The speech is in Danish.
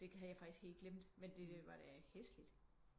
Det kan havde jeg faktisk helt glem men det var da hæsligt